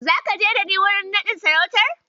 Zaka je da ni wajen naɗin sarautar?